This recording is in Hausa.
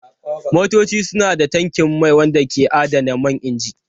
Motoci suna da tankin mai wanda ke adana man inji.